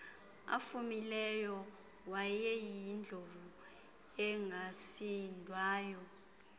afumileyo wayeyindlovu engasindwayo